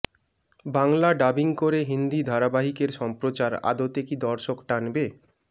Bangla dubbing করে হিন্দি ধারাবাহিকের সম্প্রচার আদতে কি দর্শক টানবে